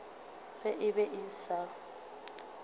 ge e be e sa